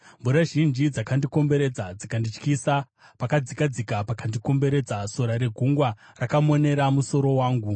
Mvura zhinji dzandikomberedza dzikandityisa; pakadzikadzika pakandikomberedza; sora regungwa rakamonera musoro wangu.